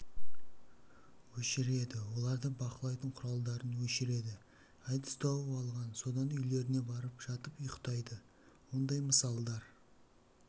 өшіреді оларды бақылайтын құралдарын өшіреді әдіс тауып алған содан үйлеріне барып жатып ұйықтайды ондай мысалдар